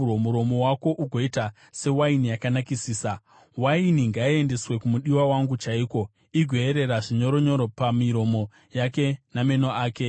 muromo wako ugoita sewaini yakanakisisa. Mukadzi Waini ngaiendeswe kumudiwa wangu chaiko, igoyerera zvinyoronyoro, napamiromo yake nameno ake.